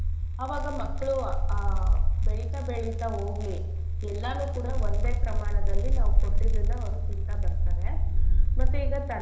ಅವಾಗ ಮಕ್ಳು ಆಹ್ ಬೆಳಿತ ಬೆಳಿತ ಹೋಗ್ಲಿ ಎಲ್ಲಾನೂ ಕೂಡ ಒಂದೇ ಪ್ರಮಾಣದಲ್ಲಿ ನಾವು ಕೊಟ್ಟಿದ್ದನ್ನ ಅವ್ರು ತಿನ್ತ ಬರ್ತರೆ ಮತ್ತೆ ಈಗ.